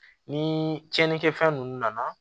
Ni cɛnnikɛ fɛn nunnu nana